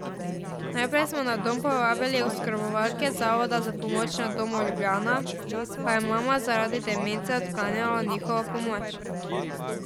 Najprej smo na dom povabili oskrbovalke Zavoda za pomoč na domu Ljubljana, pa je mama zaradi demence odklanjala njihovo pomoč.